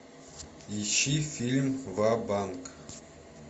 ищи фильм ва банк